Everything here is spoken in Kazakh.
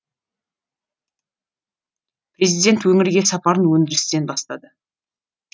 президент өңірге сапарын өндірістен бастады